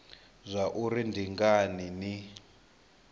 zwa uri ndi ngani ni